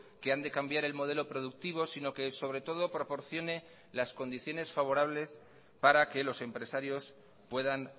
que han de cambiar el modelo productivo sino que sobre todo proporcione las condiciones favorables para que los empresarios puedan